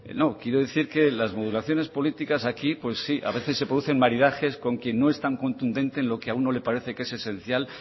no quiero decir que las modulaciones políticas aquí pues sí a veces se producen maridajes con quien no es tan contundente en lo que a uno le parece que es esencial